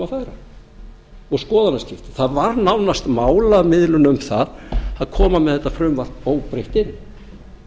að færa og skoðanaskipti það var nánast málamiðlun um það að koma með þetta frumvarp óbreytt inn